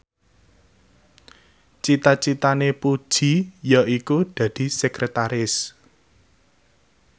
cita citane Puji yaiku dadi sekretaris